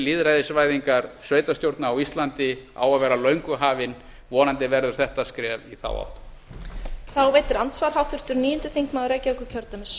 tími lýðræðisvæðingar sveitarstjórna á íslandi á að vera löngu hafinn vonandi verður þetta skref í þá átt